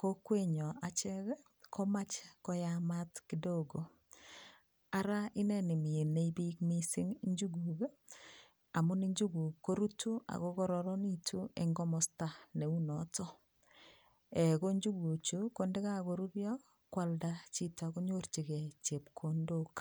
kokwenyo achek komach koyamat kidogo ara ineni minei biik mising njuguuk amun njuguuk ko rutu akokororonitu eng komosta neu notok ko njuguuk chu ko ndakakorurio koalda chito konyorchingei chepkondok.